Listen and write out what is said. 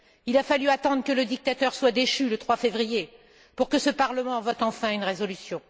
Il a fallu attendre que le dictateur soit déchu, le 3 février, pour que ce Parlement vote enfin une résolution.